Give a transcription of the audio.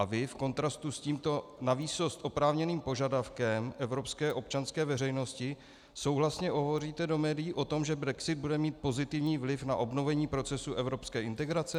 A vy v kontrastu s tímto navýsost oprávněným požadavkem evropské občanské veřejnosti souhlasně hovoříte do médií o tom, že brexit bude mít pozitivní vliv na obnovení procesu evropské integrace?